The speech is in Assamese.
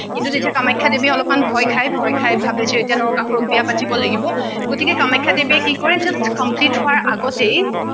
কিন্তু কামাখ্যা দেৱীয়ে অলপমান ভয় খায় ভয় খায় ভাবিছে এতিয়া নৰকাসুৰক বিয়া পাতিব লাগিব গতিকে কামাখ্যা দেৱীয়ে কি কৰে just complete হোৱাৰ আগতেই